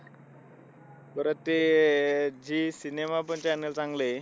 परत ते अह झी सिनेमा पण channel चांगलंय.